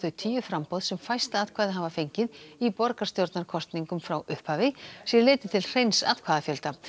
tíu framboð sem fæst atkvæði hafa fengið í borgarstjórnarkosningum frá upphafi sé litið til hreins atkvæðafjölda